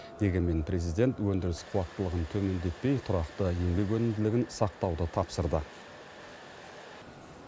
дегенмен президент өндіріс қуаттылығын төмендетпей тұрақты еңбек өнімділігін сақтауды тапсырды